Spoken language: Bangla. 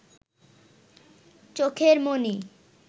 চোখের মণি